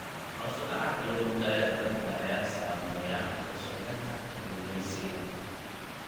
Hoos u dhaca kalluunka ee badda ayaa saameeya warshadaha kalluumeysiga.